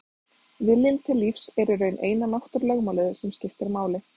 Viljinn til lífs er í raun eina náttúrulögmálið sem skiptir máli.